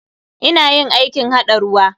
Ina yin aikin haɗa ruwa.